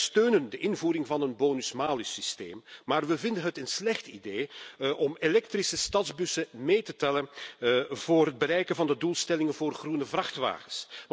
Wij steunen de invoering van een bonus malus systeem, maar wij vinden het een slecht idee om elektrische stadsbussen mee te tellen voor het bereiken van de doelstellingen voor groene vrachtwagens.